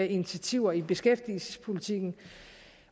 initiativer i beskæftigelsespolitikken